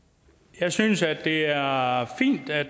jeg synes at det er er fint at